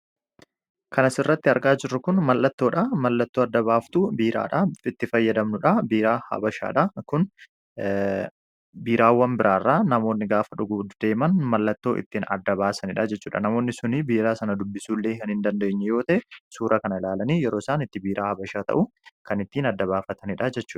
kan asirratti argaa jirru kun mallattoodha. Mallattoo adda-baaftuu biiraadhaitti fayyadamnudha a habashaadha kunbiiraawwan biraarraa namoonni gaafa dhugudeeman mallattoo ittiin adda-baasaniidha jechuudha namoonni sunii biiraa sana dubbisuuillee hin hin dandeenyu yoota suura kan ilaalanii yeroo isaan itti biiraa habashaa ta'u kan ittiin adda-baafataniidha jechu